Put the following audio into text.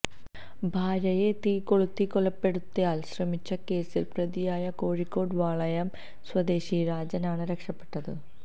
ഭാര്യയെ തീ കൊളുത്തി കൊലപ്പെടുത്താൻ ശ്രമിച്ച കേസിലെ പ്രതിയായ കോഴിക്കോട് വളയം സ്വദേശി രാജൻ ആണ് രക്ഷപ്പെട്ടത്